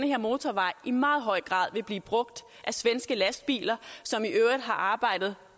her motorvej i meget høj grad vil blive brugt af svenske lastbiler som i øvrigt har arbejdet